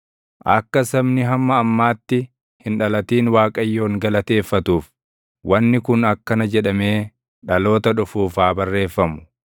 Akka sabni hamma ammaatti hin dhalatin Waaqayyoon galateeffatuuf, wanni kun akkana jedhamee dhaloota dhufuuf haa barreeffamu: